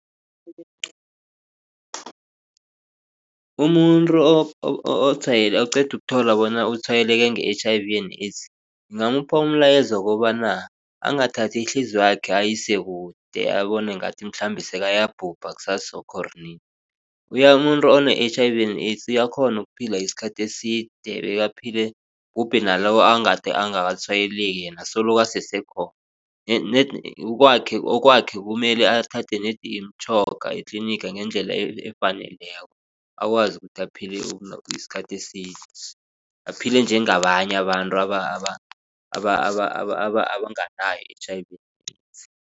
Umuntu oqeda ukuthola bona utshwayeleke nge-H_I_V and AIDS ngingamupha umlayezo wokobana angathathi ihliziywakhe ayisekude abone ngathi mhlambe sekayabhubha kusasakho or nini. Umuntu one-H_I_V and AIDS uyakghona ukuphila isikhathi eside bekaphile kubhubhe naloyo egade angakatshwayeleki yena solo asesekhona nedi okwakhe kumele athathe nedi imitjhoga etlinigi ngendlela efaneleko akwazi ukuphila isikhathi eside aphile njengabanye abantu abanganayo i-H_I_V